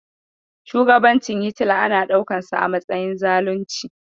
Shugabancin Hitila ana ɗaukansa a matsayin zalunci.